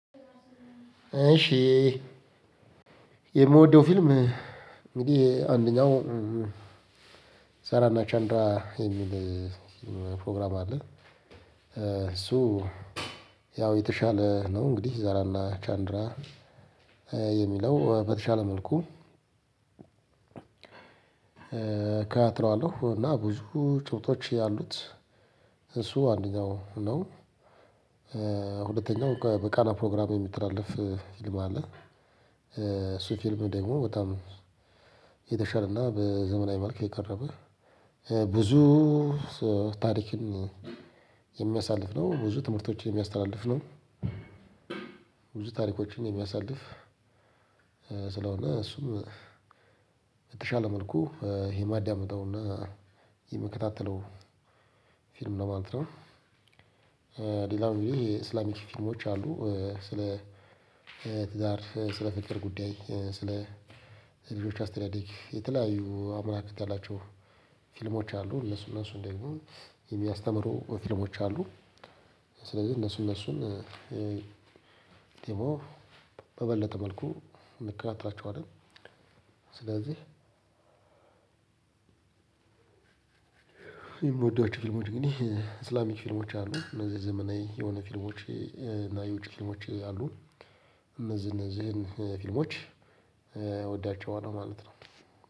እሺ የምወደው ፊልም እንግዲህ አንደኛው ዛራና ቻንድራ የሚል ፕሮግራም አለ። እሱ ያው የተሻለ ነው። እንግዲህ ዛራና ቻንድራ የሚለው በተሻለ መልኩ እከታተለዋለሁ እና ብዙ ጭብጦች ያሉት እሱ አንደኛው ነው። ሁለተኛው በቃና ፕሮግራም የሚተላለፍ ፊልም አለ። እሱ ፊልም ደግሞ በጣም የተሻለና በዘመናዊ መልክ የቀረበ ብዙ ታሪክን የሚያሳልፍ ነው። ብዙ ትምህርቶችን የሚያስተላልፍ ነው። ብዙ ታሪኮችን የሚያሳልፍ ስለሆነ እሱም በተሻለ መልኩ ይሄ ማዳመጠውና የምከታተለው ፊልም ነው ማለት ነው። ሌላው ይሄ የእስላሚክ ፊልሞች አሉ። ስለ ትዳር፤ ስለ ፍቅር ጉዳይ፤ ስለ ልጆች አስተዳደግ የተለያዩ አመለካከት የላቸው ፊልሞች አሉ። እነሱ እነሱ ደግሞ የሚያስተምሩ ፊልሞች አሉ ስለዚህ እነሱ እነሱን ደግሞ በበለጠ መልኩ እንከታተላቸዋለን። ስለዚህ የምወዷቸው ፊልሞች ግን እስላሚክ ፊልሞች አሉ። እነዚህ ዘመናዊ የሆነ ፊልሞች እና የውጪ ፊልሞች አሉ። እነዚህ እነዚህን ፊልሞች እወዳቸዋለሁ ማለት ነው።